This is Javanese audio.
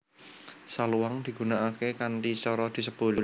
Saluang digunakake kanthi cara disebul